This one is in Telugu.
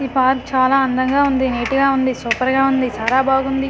ఈ పార్క్ చాలా అందంగా ఉంది నీట్ గా ఉంది సూపర్ గా ఉంది చాలా బాగుంది.